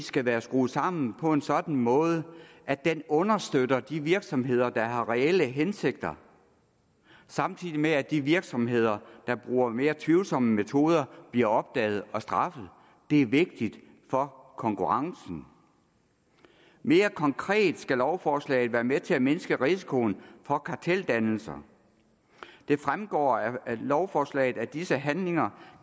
skal være skruet sammen på en sådan måde at den understøtter de virksomheder der har reelle hensigter samtidig med at de virksomheder der bruger mere tvivlsomme metoder bliver opdaget og straffet det er vigtigt for konkurrencen mere konkret skal lovforslaget være med til at mindske risikoen for karteldannelser det fremgår af lovforslaget at disse handlinger